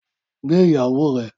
Gbé ìyàwó rẹ!